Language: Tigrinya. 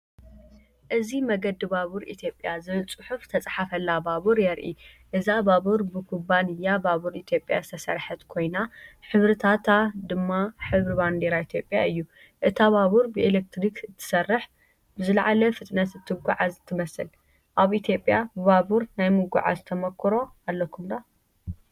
እዚ“መገዲ ባቡር ኢትዮጵያ” ዝብል ጽሑፍ ዝተጻሕፈላ ባቡር የርኢ። እዛ ባቡር ብኩባንያ ባቡር ኢትዮጵያ ዝተሰርሐት ኮይና፡ሕብርታታ ድማ ሕብሪ ባንዴራ ኢትዮጵያ እዩ። እታ ባቡር ብኤሌክትሪክ እትሰርሕን ብዝለዓለ ፍጥነት እትጓዓዝ ትመስል። ኣብ ኢትዮጵያ ብባቡር ናይ ምጉዓዝ ተመኩሮ ኣለኩም ዶ?